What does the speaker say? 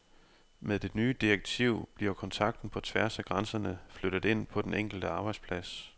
Med det nye direktiv bliver kontakten på tværs af grænserne flyttet ind på den enkelte arbejdsplads.